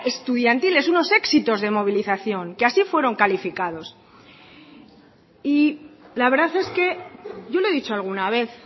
estudiantiles verdad unos éxitos de movilización que así fueron calificados y la verdad es que yo le he dicho alguna vez